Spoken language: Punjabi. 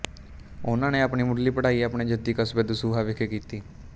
ਉਹਨਾਂ ਨੇ ਆਪਣੀ ਮੁੱਢਲੀ ਪੜ੍ਹਾਈ ਆਪਣੇ ਜੱਦੀ ਕਸਬੇ ਦਸੂਹਾ ਵਿਖੇ ਕੀਤੀ